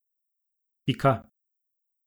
Pika ...